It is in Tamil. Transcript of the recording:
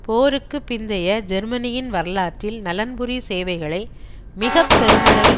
போருக்கு பிந்தைய ஜெர்மனியின் வரலாற்றில் நலன்புரி சேவைகளை மிக பெருமளவில்